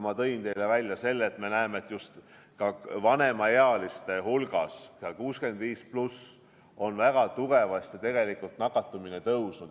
Nagu ma ütlesin, me näeme, et just vanemaealiste hulgas, seal üle 65-aastate inimeste seas on nakatumisnäitajad väga tugevasti tõusnud.